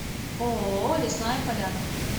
ооо лесная поляна